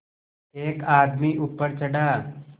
एक आदमी ऊपर चढ़ा